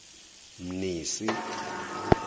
mnisi